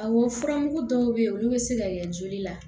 Awɔ furamugu dɔw be ye olu be se ka kɛ joli la